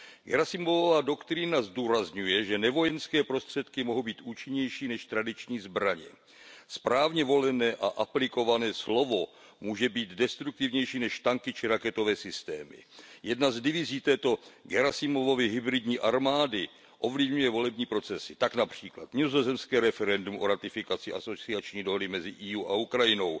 Gerasimovova doktrína zdůrazňuje, že nevojenské prostředky mohou být účinnější než tradiční zbraně. Správně volené a aplikované slovo může být destruktivnější než tanky či raketové systémy. Jedna z divizí této Gerasimovovy hybridní armády ovlivňuje volební procesy. Tak například nizozemské referendum o ratifikaci asociační dohody mezi Evropskou unií a Ukrajinou,